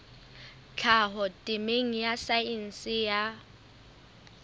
tlhaho temeng ya saense ya